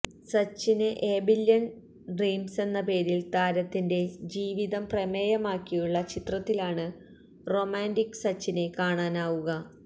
Sachin a billion ഡ്രീംസെന്ന പേരില് താരത്തിന്റെ ജീവിതം പ്രമേയമാക്കിയുള്ള ചിത്രത്തിലാണ് റൊമാന്റിക് സച്ചിനെ കാണാനാവുക